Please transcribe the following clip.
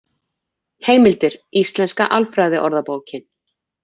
Heimildir: Íslenska alfræðiorðabókin.